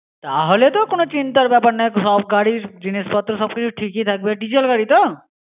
তাহলে তো কোন চিন্তার ব্যাপার নেই, সব গাড়ির জিনিসপত্র সবকিছু ঠিক থাকবে। diesel গাড়ি তো?